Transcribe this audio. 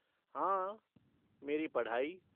हाँ, मेरी पढ़ाई।